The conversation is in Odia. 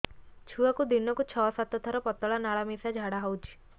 ଛୁଆକୁ ଦିନକୁ ଛଅ ସାତ ଥର ପତଳା ନାଳ ମିଶା ଝାଡ଼ା ହଉଚି